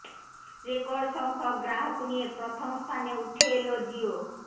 record সংখ্যক গ্রাহক নিয়ে প্রথম স্থানে উঠে এল জিয়ো